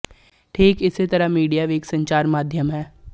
ਠੀਕ ਇਸੇ ਤਰ੍ਹਾਂ ਮੀਡੀਆਂ ਵੀ ਇੱਕ ਸੰਚਾਰ ਮਾਧਿਅਮ ਹੈ